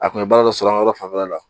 A kun bɛ baara dɔ sɔrɔ an ka yɔrɔ fanfɛla la